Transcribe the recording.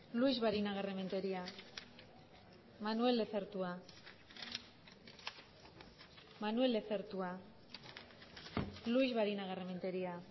luix barinagarrementeria manuel lezertua manuel lezertua luix barinagarrementeria